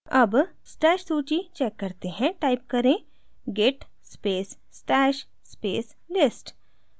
अब stash सूची check करते हैं टाइप करें git space stash space list